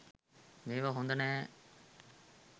මේවා හොද නැහැ.